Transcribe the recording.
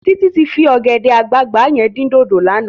Titi ti fi ògèdè àgbágbá yèn din dódó làná